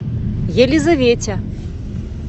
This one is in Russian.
елизавете